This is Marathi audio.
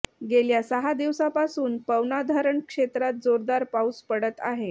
गेल्या सहा दिवसापासून पवना धरण क्षेत्रात जोरदार पाऊस पडत आहे